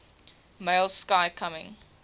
male sky coming